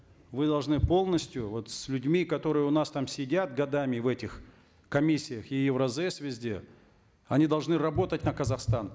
вы должны полностью вот с людьми которые у нас там сидят годами в этих комиссиях и евразэс везде они должны работать на казахстан